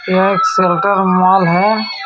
यह एक मोल है।